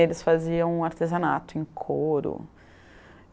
Eles faziam artesanato em couro.